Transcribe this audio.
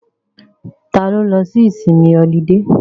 Ta ló lọ sí ìsinmi ọlidé?